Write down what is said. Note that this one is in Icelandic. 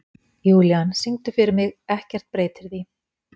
Júlían, syngdu fyrir mig „Ekkert breytir því“.